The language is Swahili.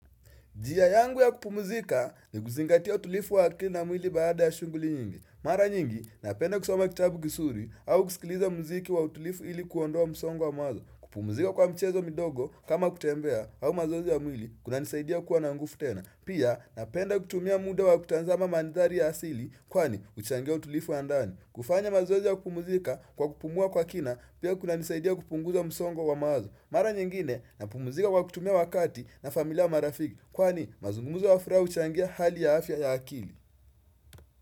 Njia yangu ya kupumzika ni kuzingatia utulivu wa akili na mwili baada ya shughuli nyingi. Mara nyingi napenda kusoma kitabu kizuri au kusikiliza muziki wa utulivu ili kuondoa msongo wa mawazo. Kupumzika kwa mchezo midogo kama kutembea au mazoezi ya mwili kunanisaidia kuwa na nguvu tena. Pia napenda kutumia muda wa kutazama mandhari ya asili kwani huchangia utulivu wa ndani. Kufanya mazoezi ya kupumuzika kwa kupumua kwa kina pia kunanisaidia kupunguza msongo wa mawazo. Mara nyingine napumzika kwa kutumia wakati na familia au marafiki Kwani mazungumzo ya furaha huchangia hali ya afya ya akili.